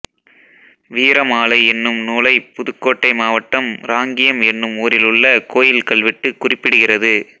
வீரமாலை என்னும் நூலைப் புதுக்கோட்டை மாவட்டம் ராங்கியம் என்னும் ஊரிலுள்ள கோயில் கல்வெட்டு குறிப்பிடுகிறது